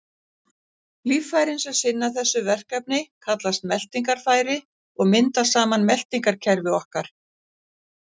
Líffærin sem sinna þessu verkefni kallast meltingarfæri og mynda saman meltingarkerfi okkar.